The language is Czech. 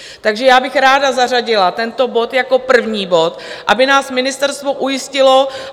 Takže já bych ráda zařadila tento bod jako první bod, aby nás ministerstvo ujistilo.